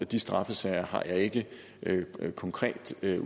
de straffesager har jeg ikke de konkrete